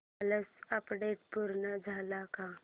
कालचं अपडेट पूर्ण झालंय का